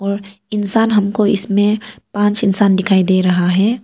और इंसान हमको इसमें पांच इंसान दिखाई दे रहा है।